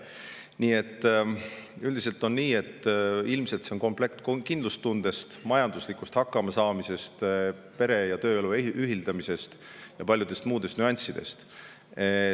Nii et üldiselt on see ilmselt komplekt kindlustundest, majanduslikust hakkamasaamisest, pere- ja tööelu ühildamisest ning veel paljudest muudest nüanssidest.